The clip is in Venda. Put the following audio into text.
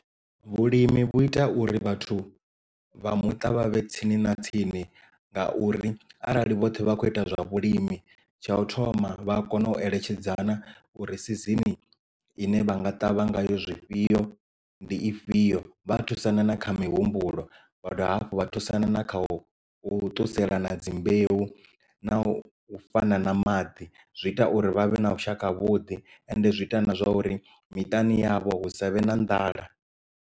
Vhulimi vhu ita uri vhathu vha muṱa vha vhe tsini na tsini nga uri arali vhoṱhe vha kho ita zwa vhulimi tsha u thoma vha a kona u eletshedzana uri sizini ine vha nga ṱavha ngayo zwifhio ndi ifhio vha thusana na kha mihumbulo vha dovha hafhu vha thusana na kha u u ṱusela na dzimbeu na u fhana na maḓi zwi ita uri vhavhe na vhushaka havhuḓi and zwi ita na zwa uri miṱani yavho hu savhe na nḓala.